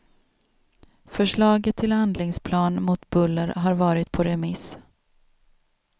Förslaget till handlingsplan mot buller har varit på remiss.